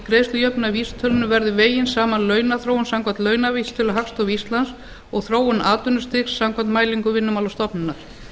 greiðslujöfnunarvísitölunni verði vegin saman launaþróun samkvæmt launavísitölu hagstofu íslands og þróun atvinnustigs samkvæmt mælingum vinnumálastofnunar